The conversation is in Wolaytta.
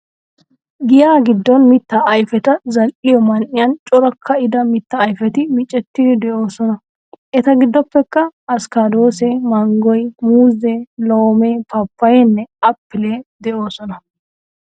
Giyaa giddon mittaa ayfeta zal'iyo man'iyan cora ka'ida mittaa ayfeti micettidi de'oosona Eta giddoppekka askkaadoosee, manggoy, muuzee, loomee paappayeenne appilee de'oosona